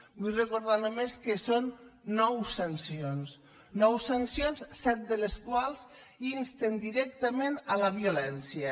vull recordar només que són nou sancions nou sancions set de les quals insten directament la violència